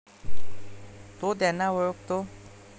तो त्यांना ओळखतो.